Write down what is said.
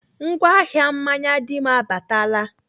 Ngwa ahịa mmanya Dim abaatala.